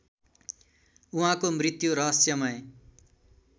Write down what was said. उहाँको मृत्यु रहस्यमय